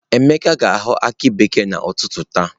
Emeka ga ahọ aki bekee na ụtụtụ taa.